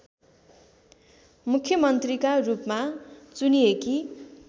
मुख्यमन्त्रीका रूपमा चुनिएकी